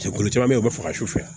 Jɛkulu caman bɛ yen u bɛ faga su fɛ